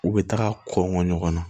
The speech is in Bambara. U bɛ taga kɔ ɲɔgɔn na